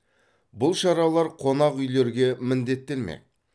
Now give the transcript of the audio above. бұл шаралар қонақүйлерге міндеттелмек